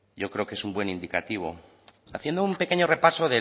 yo creo que es un buen indicativo haciendo un pequeño repaso